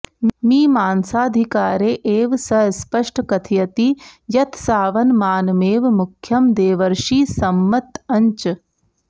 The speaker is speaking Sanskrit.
मीमांसाधिकारे एव स स्पष्ट कथयति यत्सावनमानमेव मुख्यं देवर्षिसम्मतञ्च